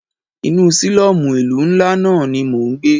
Inú sílọ́mù ìlú ńlá náà ní mọ ń gbé.